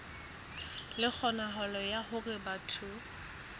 le kgonahalo ya hore batho